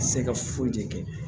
Se ka foyi de kɛ